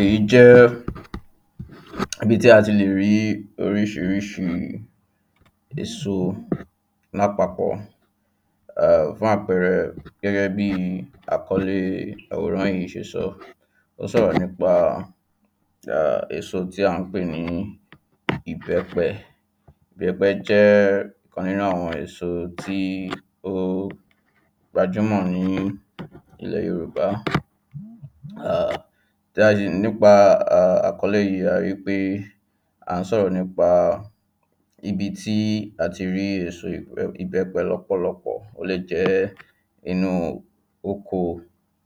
Èyí jẹ́ ibi tí a ti le rí oríṣiríṣi èso lá papọ̀ ehm Fún àpẹẹrẹ gẹ́gẹ́ bí i àkọlé àwòrán yìí ṣe sọ Ó sọ̀rọ̀ nípa [ehn] èso tí à ń pè ní ìbẹ́pẹ Ìbẹ́pẹ jẹ́ ẹ́ ìkan nínú àwọn èso tí ó gbajúmọ̀ ní ilẹ̀ Yorùbá [ehn] Dádì nípa àkọlé yìí a rí pé é à ń sọ̀rọ̀ nípa ibi tí a ti rí èso ìbẹ́pẹ lọ́pọ̀lọpọ̀ ó lè jẹ́ ẹ́ inú u oko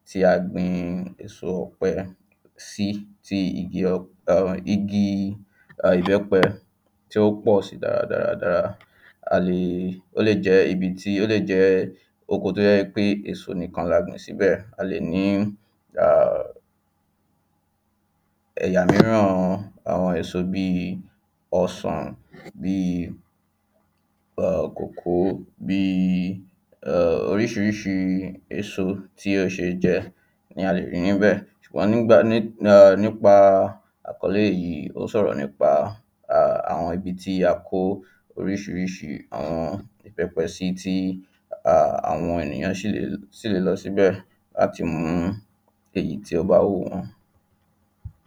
tí a gbin in èso ọ̀pẹ sí tí igi uhm igi [ahn] ìbẹ́pẹ tí ó pọ̀ sí dáradára dára A lè è ó lè jẹ́ ibi tí ó lè jẹ́ oko tí ó jẹ́ pé èso nìkan la gbin síbẹ̀ A lè ní í [ahm] ẹ̀yà mìíràn àwọn èso bí i ọsàn bí i [ahn] kòkó bí i [ahm] oríṣiríṣi èso tí ó ṣe é jẹ́ ni a le rí níbẹ̀ Wọ́n ni gbà [ehn] nípa a àkọlé yìí ó sọ̀rọ̀ nípa àwọn ibi tí a kó oríṣiríṣi àwọn ìbẹ́pẹ sí tí [ahn] àwọn ènìyàn sì le sì le lọ síbẹ̀ láti mú èyí tí ó bá wù wọ́n